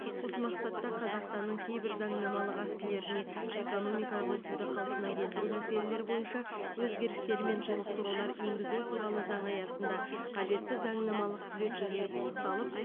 осы мақсатта қазақстанның кейбір заңнамалық актілеріне экономикалық өсуді қалпына келтіру мәселелері бойынша өзгерістер мен толықтырулар енгізу туралы заңы аясында қажетті заңнамалық түзетулер пысықталып